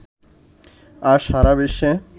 আর সারা বিশ্বে